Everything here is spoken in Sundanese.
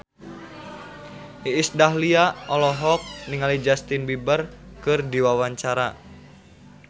Iis Dahlia olohok ningali Justin Beiber keur diwawancara